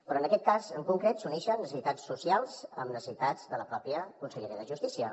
però en aquest cas en concret s’uneixen necessitats socials amb necessitats de la mateixa conselleria de justícia